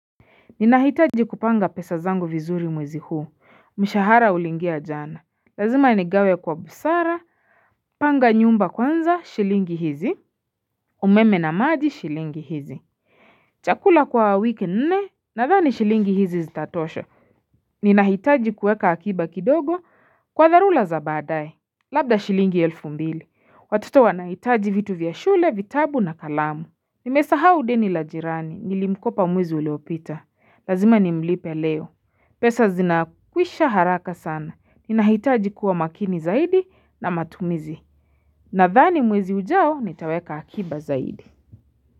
Ninahitaji kupanga pesa zangu vizuri mwezi huu mshahara uliingia jana Lazima nigawe kwa busara Panga nyumba kwanza shilingi hizi umeme na maji shilingi hizi Chakula kwa wiki nne na dhani shilingi hizi zitatosha Ninahitaji kueka akiba kidogo kwa dharula zabaadaye Labda shilingi elfu mbili watoto wanahitaji vitu vya shule vitabu na kalamu Nimesaha udeni la jirani nilimkopa mwezi uliopita lazima nimlipe leo pesa zinakwisha haraka sana. Ninahitaji kuwa makini zaidi na matumizi. Na dhani mwezi ujao nitaweka akiba zaidi.